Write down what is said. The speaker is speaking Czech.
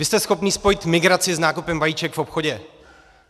Vy jste schopen spojit migraci s nákupem vajíček v obchodě.